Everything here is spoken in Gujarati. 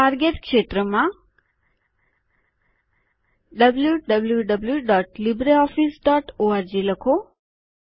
ટાર્ગેટ ક્ષેત્રમાં wwwlibreofficeorg લખો